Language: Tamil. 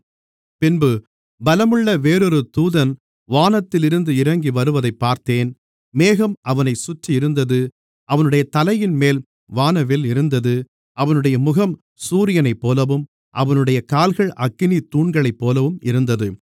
பின்பு பலமுள்ள வேறொரு தூதன் வானத்திலிருந்து இறங்கி வருவதைப் பார்த்தேன் மேகம் அவனைச் சுற்றியிருந்தது அவனுடைய தலையின்மேல் வானவில் இருந்தது அவனுடைய முகம் சூரியனைப்போலவும் அவனுடைய கால்கள் அக்கினித் தூண்களைப்போலவும் இருந்தது